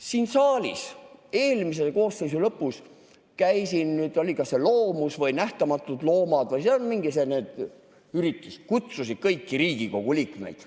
Siin eelmise koosseisu lõpus oli kas Loomus või Nähtamatud Loomad või mingi selline üritus, nad kutsusid kõiki Riigikogu liikmeid.